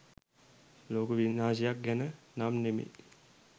ලෝක විනාශයක් ගැන නම් නෙමෙයි.